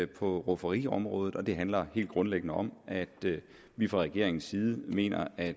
på rufferiområdet og det handler helt grundlæggende om at vi fra regeringens side mener at